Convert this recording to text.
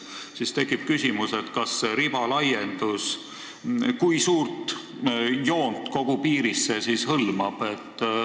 Aga siis tekib küsimus, et kui suurt joont see riba laiendus kogu piirist hõlmab.